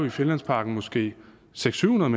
i finlandsparken måske seks hundrede